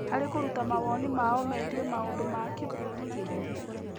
Harĩ kũruta mawoni mao megiĩ maũndũ ma kĩbũrũri na kĩũteti